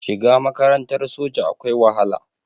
Shiga makarantar soja akwai wahala